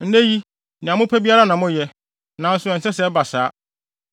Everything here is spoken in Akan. Nnɛ yi, nea mopɛ biara na moyɛ, nanso ɛnsɛ sɛ ɛba saa,